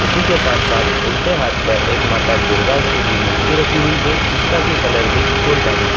उसी के साथ-साथ उल्टे हाथ पर एक माता दुर्गा की भी मूर्ति रखी हुई है जिसका कि कलर भी गोल्डन है।